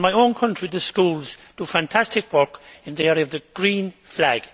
In my own country the schools do fantastic work in the area of the green flag.